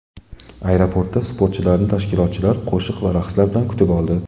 Aeroportda sportchilarni tashkilotchilar qo‘shiq va raqslar bilan kutib oldi.